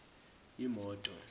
imoto